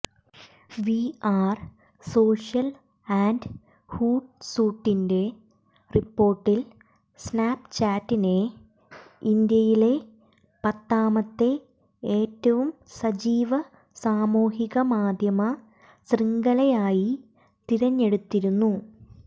V Are Social and ഹൂട്സുട്ടിന്റെ റിപ്പോർട്ടിൽ സ്നാപ്ചാറ്റിനെ ഇന്ത്യയിലെ പത്താമത്തെ ഏറ്റവും സജീവ സാമൂഹിക മാധ്യമ ശൃംഖലയായി തിരഞ്ഞെടുത്തിരുന്നു